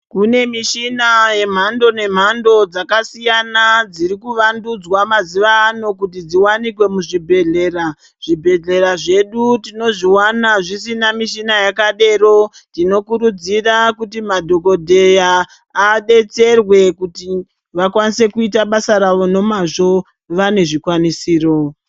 Kune mishina yemhando nemhando dzakasiyana dzirikuvandudzwa muzuvaano kuti dziwanikwe muzvibhedhlera, zvibhedhlera zvedu tinozviwana zvisina mishina yakadero tinokurudzira kuti madhokodheya adetserwe kuti vakwanise kuita basa rawo nomazvo vane zvikwanisiro.